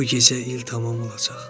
Bu gecə il tamam olacaq.